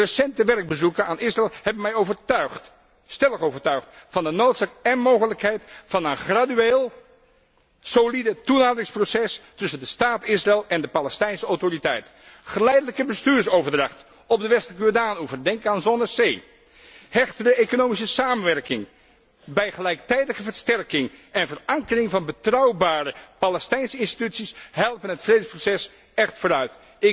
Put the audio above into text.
Recente werkbezoeken aan Israël hebben mij stellig overtuigd van de noodzaak én mogelijkheid van een gradueel, solide toenaderingsproces tussen de staat Israël en de Palestijnse Autoriteit. Geleidelijke bestuursoverdracht op de Westelijke Jordaanoever, denk aan zone C, hechtere economische samenwerking bij gelijktijdige versterking en verankering van betrouwbare Palestijnse instituties helpen het vredesproces echt vooruit.